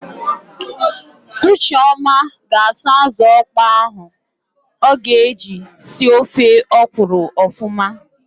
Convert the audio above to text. Ucheọma ga-asa ázụ̀ ọkpọọ ahụ o ga-eji si ofe ọkwụrụ ọfụma.